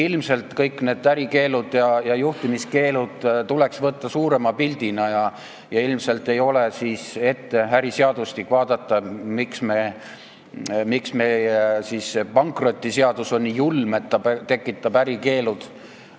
Ilmselt tuleks kõik need ärikeelud ja juhtimiskeelud võtta ette suurema pildina, äriseadustik tuleks ette võtta ja vaadata, miks meie pankrotiseadus on nii julm, et ta tekitab selliseid ärikeelde.